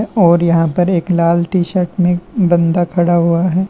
और यहां पर एक लाल टी शर्ट में बंदा खड़ा हुआ है।